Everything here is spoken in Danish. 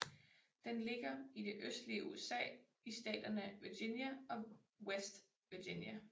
Den ligger i det østlige USA i staterne Virginia og West Virginia